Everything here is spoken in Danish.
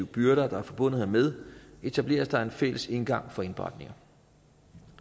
byrder der er forbundet hermed etableres der en fælles indgang for indberetninger